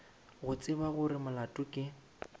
go tseba gore molato ke